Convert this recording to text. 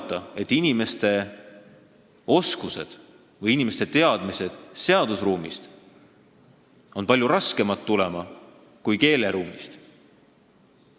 Ma julgen arvata, et inimeste teadmised seadusruumi kohta tulevad palju raskemini kui teadmised keeleruumi kohta.